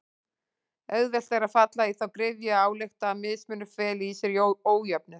Auðvelt er að falla í þá gryfju að álykta að mismunur feli í sér ójöfnuð.